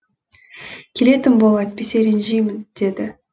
келетін бол әйтпесе ренжимін деді